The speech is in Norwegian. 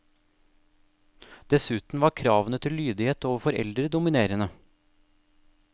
Dessuten var kravene til lydighet overfor eldre dominerende.